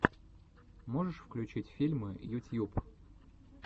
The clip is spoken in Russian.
можешь включить фильмы ютьюб